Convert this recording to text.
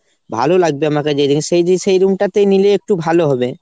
ভালোলাগবে আমাকে যে সেই room টাতে নিলে একটু ভালো হবে।